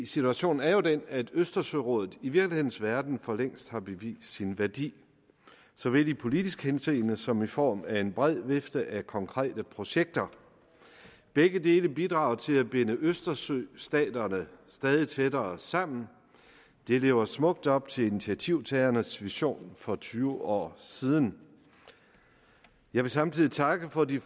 situationen er jo den at østersørådet i virkelighedens verden for længst har bevist sin værdi såvel i politisk henseende som i form af en bred vifte af konkrete projekter begge dele bidrager til at binde østersøstaterne stadig tættere sammen det lever smukt op til initiativtagernes vision for tyve år siden jeg vil samtidig takke for de